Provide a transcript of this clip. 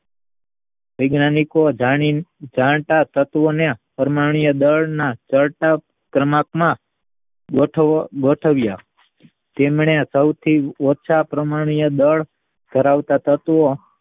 વૈજ્ઞાનિકો જાણતા તત્વના પરમાણ્વીય દળના કળથળ ક્રમાંક માં ગોઠવ્યા તેમને સૌ થી ઓછા પરમાણ્વીય દળ ધરાવતા તત્વ